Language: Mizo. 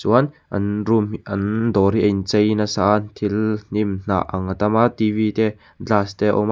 an room hi an dawr a in chei nasa a an thil hnimhnah ang a tam a t v te glass te a awm a--